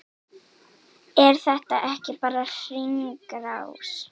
Er þetta ekki bara hringrás?